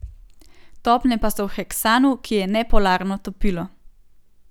Topne pa so v heksanu, ki je nepolarno topilo.